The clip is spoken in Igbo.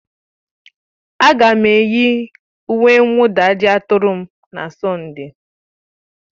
Ága m eyi uwe mwụda ajịaturu m na Sọnde